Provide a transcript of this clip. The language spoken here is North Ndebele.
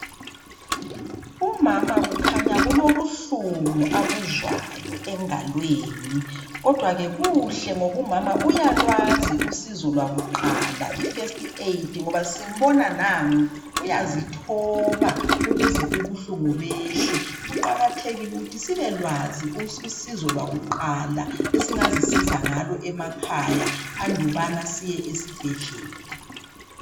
Umama kukhanya kulobuhlungu abuzwayo engalweni. Kodwake kuhle ngoba umama uyalwazi usizo lwakuqala ifirst aid, ngoba simbona nangu uyazithoba ukuze ubuhlungu behle. Kuqakathekile ukuthi sibelwazi usizo lwakuqala, esingazisiza ngalo emakhaya andukubana siye esibhedlela.